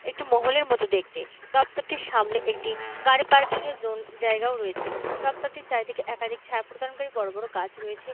একটি মহলের মতন দেখতে দপ্তরটির সামনে একটি গাড়িকে পার্কিং এর জোন জায়গাও রয়েছে দপ্তরটির চারিদিকে একাধিক ছায়া প্রদানকারী বড়ো বড়ো গাছ রয়েছে।